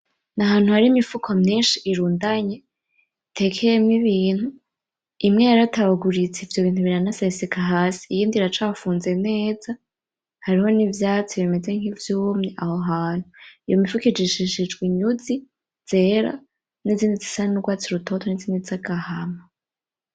Ni ahantu hari Imifuko myinshi irundanye, itekeyemwo ibintu imwe yaratabaguritse ivyio bintu biranaseseka hasi , iyindi iracafunze neza hariho n’ivyatsi bimeze nk’ivyumye Aho hantu. Iyo mifuko ikishishijwe inyuzi zera, n’izindi zisa n’urwatsi rutoto n’izindi zifise agahama.